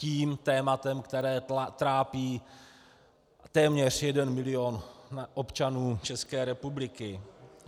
Tím tématem, které trápí téměř jeden milion občanů České republiky.